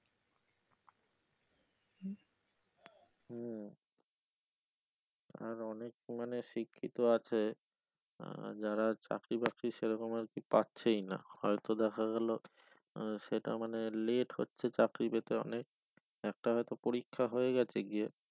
আর অনেক মানে শিক্ষিত আছে আহ যারা চাকরি বাকরি সেরকমভাবে পারছেই না হয়তো দেখা গেলো আহ সেটা মানে late হচ্ছে চাকরি পেতে অনেক একটা হয়তো পরিক্ষা হয়ে গেছে গিয়ে